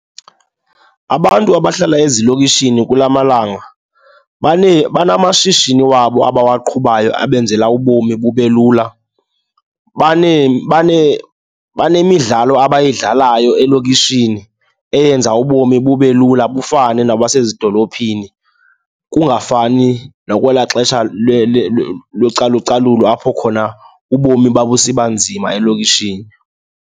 Abantu abahlala ezilokishini kula malanga banamashishini wabo abawaqhubayo abenzela ubomi bube lula. Banemidlalo abayidlalayo elokishini eyenza ubomi bube lula bufane nabasezidolophini, kungafani nakwelaa xesha localucalulo apho khona ubomi babusiba nzima elokishini.